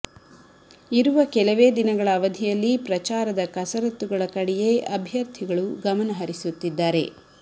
ಇರುವ ಕೆಲವೇ ದಿನಗಳ ಅವಧಿಯಲ್ಲಿ ಪ್ರಚಾರದ ಕಸರತ್ತುಗಳ ಕಡೆಯೇ ಅಭ್ಯರ್ಥಿಗಳು ಗಮನ ಹರಿಸುತ್ತಿದ್ದಾರೆ